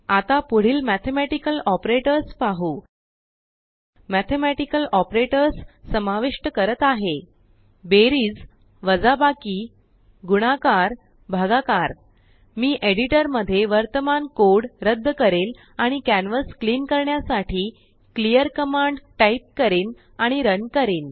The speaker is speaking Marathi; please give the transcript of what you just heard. आता पुढीलमेथेमेटिकलऑपरेटर्स पाहू मेथेमेटिकलऑपरेटर्ससमाविष्ट करत आहेत बेरिज वजाबाकी गुणाकार भागाकर मी एडिटरमध्ये वर्तमान कोड रद्द करेल आणिकॅनवास क्लिन करण्यासाठी क्लिअर कमांड टाईप करीन आणि रन करीन